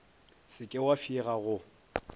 se ke wa fšega go